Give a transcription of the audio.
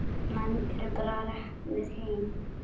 Menn eru bara reknir heim.